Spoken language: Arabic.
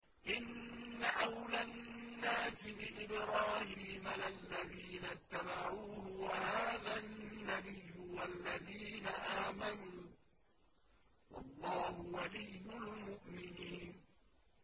إِنَّ أَوْلَى النَّاسِ بِإِبْرَاهِيمَ لَلَّذِينَ اتَّبَعُوهُ وَهَٰذَا النَّبِيُّ وَالَّذِينَ آمَنُوا ۗ وَاللَّهُ وَلِيُّ الْمُؤْمِنِينَ